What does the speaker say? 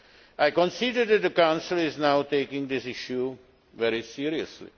I consider that the Council is now taking this issue very seriously.